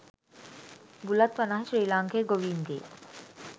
බුලත් වනාහී ශ්‍රී ලාංකේය ගෝවීන්ගේ